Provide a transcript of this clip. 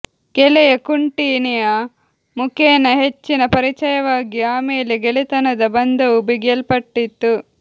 ಗೆಳೆಯ ಕುಂಟಿನಿಯ ಮುಖೇನ ಹೆಚ್ಚಿನ ಪರಿಚಯವಾಗಿ ಆಮೇಲೆ ಗೆಳೆತನದ ಬಂಧವೂ ಬಿಗಿಯಲ್ಪಟ್ಟಿತು